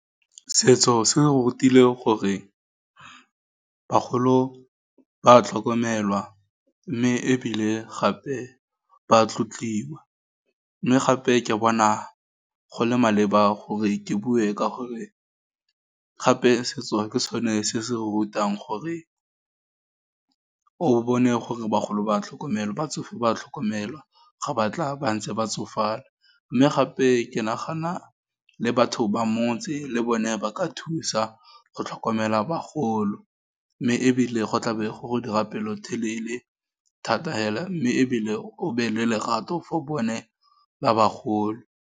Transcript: Setso se re rutile gore, bagolo ba tlhokomelwa, mme ebile gape, ba tlotliwa, mme gape ke bona go le maleba gore ke bue ka gore, gape setso, ke sone se se re rutang gore, o bone gore bagolo ba tlhokomelo, batsofe ba tlhokomelwa, ga ba tla ba ntse ba tsofala, mme gape ke nagana le batho ba motse, le bone ba ka thusa, go tlhokomela bagolo, mme ebile go tla be go go dira pelotelele thata fela, mme ebile o nne le lerato for bone ba bagolo.